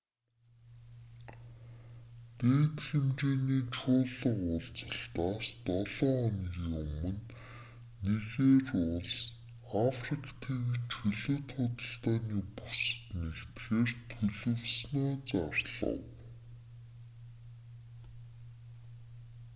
дээд хэмжээний чуулга уулзалтаас долоо хоногийн өмнө нигери улс африк тивийн чөлөөт худалдааны бүсэд нэгдэхээр төлөвлөснөө зарлав